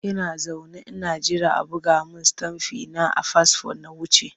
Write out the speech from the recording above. Ina zaune ina jira a buga min stamfi na a fasfo na wuce.